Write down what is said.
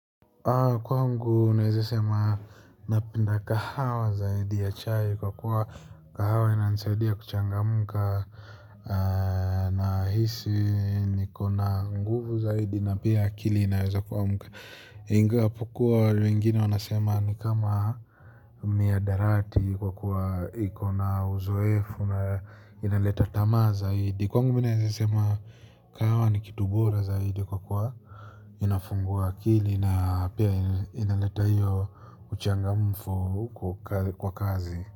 Kwangu naeza sema napenda kahawa zaidi ya chai kwa kuwa kahawa inanisaidia kuchangamka. Nahisi niko na nguvu zaidi na pia akili inaweza kuamka. Inga pokua wengine wanasema ni kama mihadharati kwa kuwa iko na uzoefu na inaleta tamaa zaidi kwangu mimi naeza sema kahawa ni kitu bora zaidi kwa kuwa unafungua akili na pia inaleta hiyo uchangamfu kwa kazi.